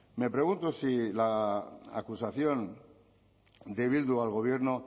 me pregunto si la acusación de bildu al gobierno